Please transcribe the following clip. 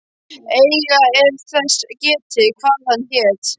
Eigi er þess getið, hvað hann hét.